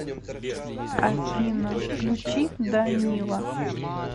афина включи да нила